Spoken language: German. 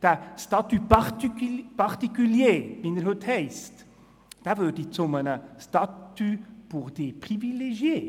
Der «statut particulier», wie er heute heisst, würde zu einem «statut pour les privilegiés».